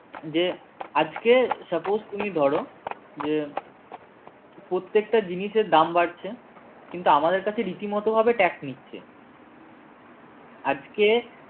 যে আজকে suppose তুমি ধরো যে প্রত্যেকটা জিনিসের দাম বাড়ছে কিন্তু আমাদের কাছে রীতিমত ভাবে tax নিচ্ছে আজকে